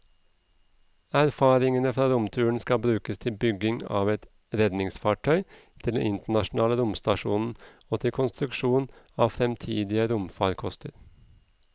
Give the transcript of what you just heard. Erfaringene fra romturen skal brukes til bygging av et redningsfartøy til den internasjonale romstasjonen og til konstruksjon av fremtidige romfarkoster.